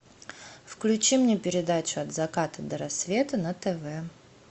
включи мне передачу от заката до рассвета на тв